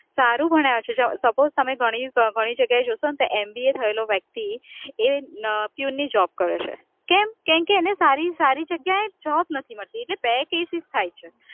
સારું ભણ્યા છે, suppose તમે ઘણી જગ્યાએ જોશો ને ત્યાં M. B. A. થયેલો વ્યક્તિ એ પ્યુનની job કરે છે, કેમ કેમકે એને સારી જગ્યાએ job નથી મળતી એટલે થાય છે,